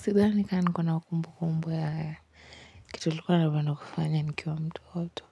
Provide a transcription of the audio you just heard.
Sidhani kama niko na kumbukumbu ya kitu nilikuwa napenda kufanya nikiwa mtoto